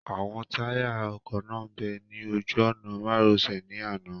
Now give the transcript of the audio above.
Àwọn táyà ọkọ̀ náà bẹ́ ní ojú ọ̀nà-márosẹ̀ ní àná